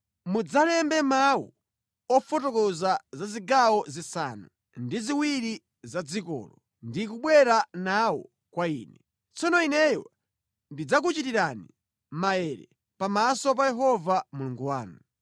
Mudzalembe mawu ofotokoza za zigawo zisanu ndi ziwiri za dzikolo, ndi kubwera nawo kwa ine. Tsono ineyo ndidzakuchitirani maere pamaso pa Yehova Mulungu wanu.